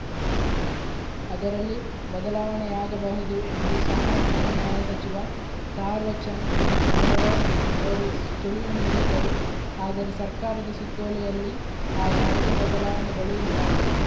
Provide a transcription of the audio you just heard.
ಅದರಲ್ಲಿ ಬದಲಾವಣೆಯಾಗಬಹುದು ಎಂದು ಸಾಮಾಜಿಕ ನ್ಯಾಯ ಸಚಿವ ಥಾರ್ವ ಚಂದ್‌ ಗೆಹ್ಲೋಟ್‌ ಅವರು ಸುಳಿವು ನೀಡಿದ್ದರು ಆದರೆ ಸರ್ಕಾರದ ಸುತ್ತೋಲೆಯಲ್ಲಿ ಆ ಯಾವುದೇ ಬದಲಾವಣೆಗಳೂ ಇಲ್ಲ